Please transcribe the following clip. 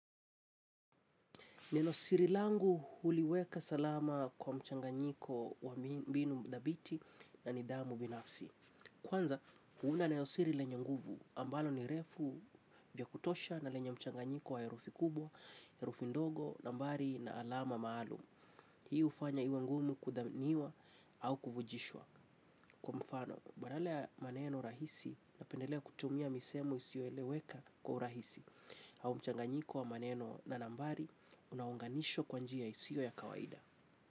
Nenosiri langu huliweka salama kwa mchanganyiko wa mbinu dhabiti na nidhamu binafsi. Kwanza, huuda nenosiri lenye nguvu ambalo ni refu vya kutosha na lenye mchanganyiko wa herufi kubwa, herufi ndogo, nambari na alama maalum. Hii ufanya iwe ngumu kudhamiwa au kufujishwa. Kwa mfano, badala ya maneno rahisi napendelea kutumia misemo isioeleweka kwa rahisi. Au mchanganyiko wa maneno na nambari unaunganisho kwa njia ya isio ya kawaida.